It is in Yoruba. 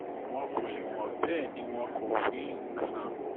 wọn kò lè wọ̀n bẹ́ẹ̀ ni wọn kò wí knni kan